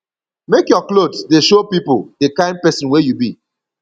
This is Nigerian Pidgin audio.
make your clothes dey show pipo di kain pesin wey you be